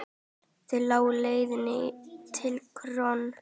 Þaðan lá leiðin til KRON.